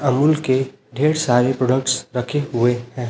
अमूल के ढेर सारे प्रोडक्ट्स रखे हुए हैं।